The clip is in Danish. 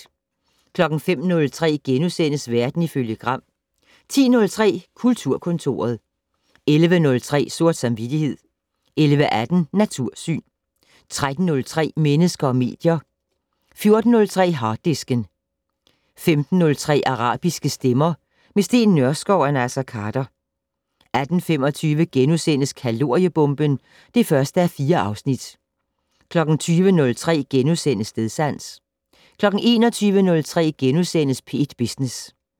05:03: Verden ifølge Gram * 10:03: Kulturkontoret 11:03: Sort samvittighed 11:18: Natursyn 13:03: Mennesker og medier 14:03: Harddisken 15:03: Arabiske stemmer - med Steen Nørskov og Naser Khader 18:25: Kaloriebomben (1:4)* 20:03: Stedsans * 21:03: P1 Business *